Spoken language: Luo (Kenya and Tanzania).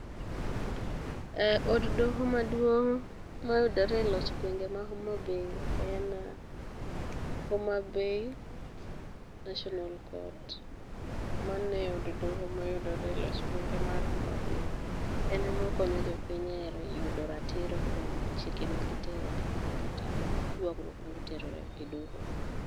Od doho maduong' mayudore e loch gwenge ma Homabay en Homabay National Court, mano e od doho mayudore e loch gwenge mar Homabay. En emokonyo jopiny e yudo ratiro kuom chike magitero kanyo kata ywagruok magitero e doho.